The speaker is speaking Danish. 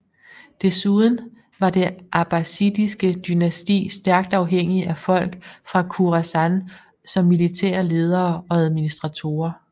Desuden var det abbasidiske dynasti stærkt afhængigt af folk fra Khurasan som militære ledere og administratorer